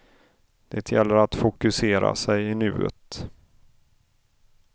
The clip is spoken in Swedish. Det gäller att fokusera sig i nuet.